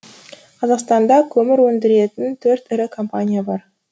қазақстанда көмір өндіретін төрт ірі компания бар